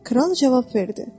Kral cavab verdi: